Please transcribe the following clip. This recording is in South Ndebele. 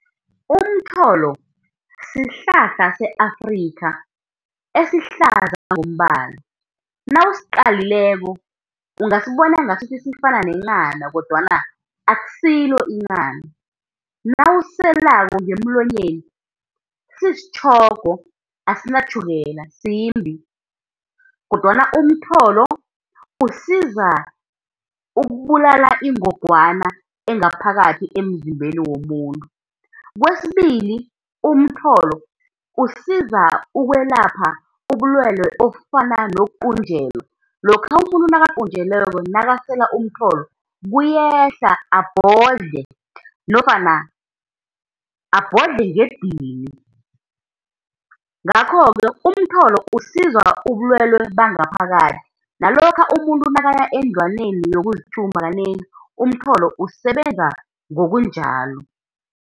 Umtholo sihlahla se-Afrikha, esihlaza ngokombala, nawusiqalileko ungasibona ngasuthi sifana nenghana kodwana akusilo inghana. Nawusiselako ngemlonyeni sisitjhogo, asinatjhukela simbi, kodwana umtholo usiza ukubulala ingogwana, engaphakathi emzimbeni womuntu. Kwesibili umtholo usiza ukwelapha ubulwelwe obufana nokuqunjelwa, lokha umuntu nakaqunjelweko nakasela umtholo kuyehla abhodle, nofana abhodle ngedini. Ngakho-ke umtholo usiza ubulwelwe bangaphakathi nalokha umuntu nakaya endlwaneni yokuzithuma kanengi, umtholo usebenza ngokunjalo.